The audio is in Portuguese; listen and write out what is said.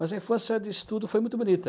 Mas a infância de estudo foi muito bonita.